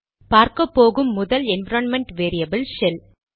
பார்க்கப்போகும் முதல் environment variable shell